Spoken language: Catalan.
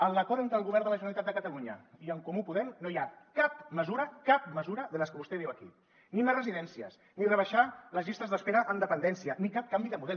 en l’acord entre el govern de la generalitat de catalunya i en comú podem no hi ha cap mesura cap mesura de les que vostè diu aquí ni més residències ni rebaixar les llistes d’espera en dependència ni cap canvi de model